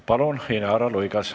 Palun, Inara Luigas!